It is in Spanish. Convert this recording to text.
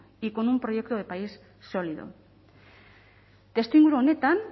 y con un proyecto de país sólido testuinguru honetan